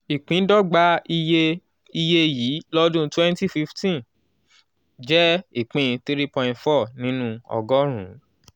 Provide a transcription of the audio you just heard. ìpíndọ́gba iye iye yìí lọ́dún twenty fifteen jẹ́ ìpín three point four nínú ọgọ́rùn-ún.